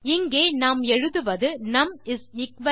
இங்கே நாம் எழுதுவது நும் 1